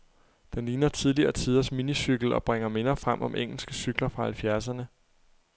Den ligner tidligere tiders minicykel, og bringer minder frem om engelske cykler fra halvfjerdserne.